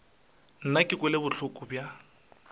nna ke kwele bohloko bja